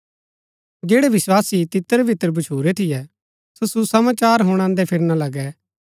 जैड़ै विस्वासी तितरबितर भच्छुरै थियै सो सुसमाचार हुणादै फिरना लगै